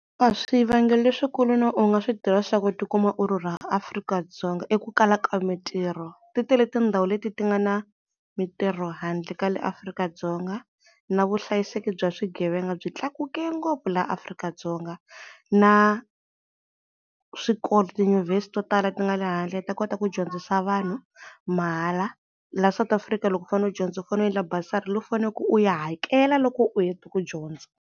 A swivangelo leswikulu no u nga swi tirhisa ku tikuma u rhurha Afrika-Dzonga i ku kala ka mintirho, ti tele tindhawu leti ti nga na mintirho handle ka le Afrika-Dzonga na vuhlayiseki bya swigevenga byi tlakuke ngopfu la Afrika-Dzonga na swikolo, tiyunivhesiti to tala ti nga le handle ta kota ku dyondzisa vanhu mahala, la South Africa loko u fane u dyondzo u fane endla bursary leyi u faneleke u yi hakela loko u hete ku dyondza.